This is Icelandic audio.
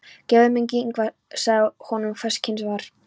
Guð mund Ingva, og sagði honum hvers kyns var.